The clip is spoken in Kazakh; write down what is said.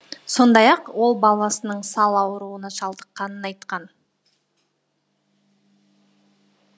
сондай ақ ол баласының сал ауруына шалдыққанын айтқан